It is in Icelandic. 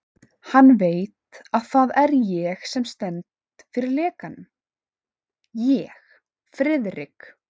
Hann veit, að það er ég sem stend fyrir lekanum ég, Friðrik